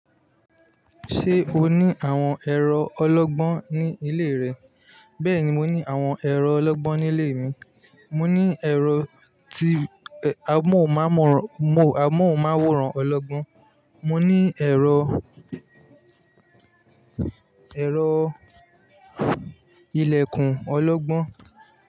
Ṣé o ní àwọn ẹ̀rọ ọlọ́gbọ́n ní ilé rẹ? Bẹ́ẹ̀ni, mo ní àwọn ẹ̀rọ ọlọ́gbọ́n ní ilé mi. Mo ní ẹ̀rọ tí amohun mawọ́ran ọlọ́gbọ́n, mo ní ẹ̀rọ, ẹ̀rọ ilẹ̀kùn ọlọ́gbọ́n.